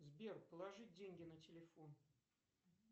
сбер положи деньги на телефон